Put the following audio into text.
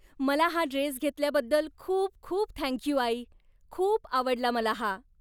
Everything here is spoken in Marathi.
मला हा ड्रेस घेतल्याबद्दल खूप खूप थँक यू, आई! खूप आवडला मला हा.